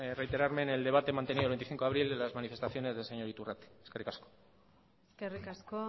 reiterarme en el debate mantenido el veinticinco de abril de las manifestaciones del señor iturrate eskerrik asko eskerrik asko